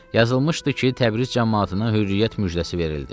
Yazılmışdı ki, Təbriz camaatına hürriyyət müjdəsi verildi.